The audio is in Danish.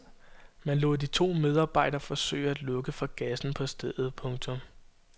Man lod de to medarbejdere forsøge at lukke for gassen på stedet. punktum